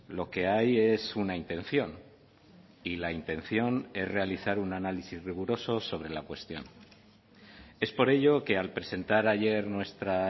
lo que hay es una intención y la intención es realizar un análisis riguroso sobre la cuestión es por ello que al presentar ayer nuestra